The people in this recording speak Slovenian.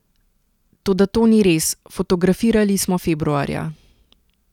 Toda to ni res, fotografirali smo februarja.